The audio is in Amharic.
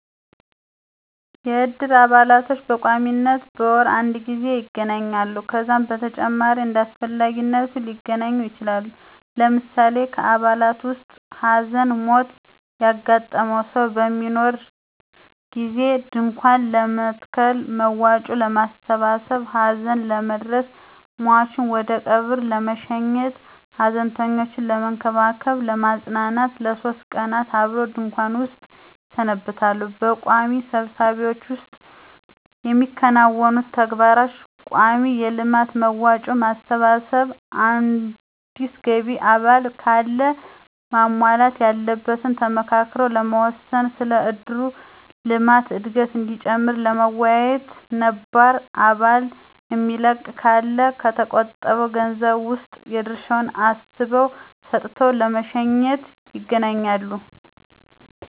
የእድር አባላቶች በቋሚነት በወር አድ ጊዜ ይገናኛሉ። ከዛም በተጨማሪ እንዳስፈላጊነቱ ሊገናኙ ይችላሉ። ለምሳሌ ከአባላቱ ዉስጥ ሀዘን/ሞት ያጋጠመው ሰው በሚኖር ጊዜ ድንኳን ለመትከል፣ መዋጮ ለማሠባሠብ፣ ሀዘን ለመድረስ፣ ሟቹን ወደቀብር ለመሸኘት፣ ሀዘንተኞችን ለመንከባከብ /ለማጽናናት ለሶስት ቀን አብረው ድንኩዋን ዉስጥ ይሰነብታሉ። በቋሚ ስብሰባዎች ዉስጥ የሚያከናውኑት ተግባር :ቋሚ የልማት መዋጮ ማሰባሰብ፣ አዲስ ገቢ አባል ካለ ማሟላት ያለበትን ተመካክረው ለመወሰን፣ ስለ እድሩ የልማት እድገት እዲጨምር ለመወያየት፣ ነባር አባል የሚለቅ ካለ ከተቆጠበዉ ገንዘብ ዉስጥ የድርሻዉን አስበው ሰጥተው ለመሸኘት ___ይገናኛሉ።